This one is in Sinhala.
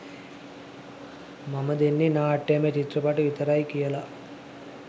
මම දෙන්නෙ නාට්‍යමය චිත්‍රපට විතරයි කියලා.